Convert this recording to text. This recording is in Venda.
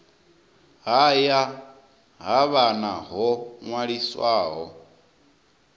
haya ha vhana ho ṅwaliswaho